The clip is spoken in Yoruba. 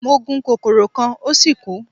Mo gun kokoro kan o si kú